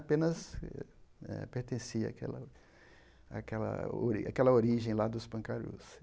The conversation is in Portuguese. Apenas pertenciam àquela àquela origem lá dos Pancarus.